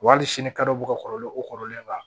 Wa hali sini kadɔ bɛ ka kɔrɔlen o kɔrɔlen b'a la